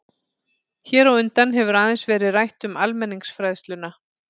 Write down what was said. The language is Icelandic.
Hér á undan hefur aðeins verið rætt um almenningsfræðsluna.